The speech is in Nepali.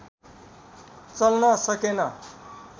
चल्न सकेन